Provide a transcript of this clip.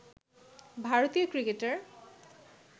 ভারতীয় ক্রিকেটার